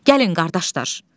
Gəlin qardaşlar.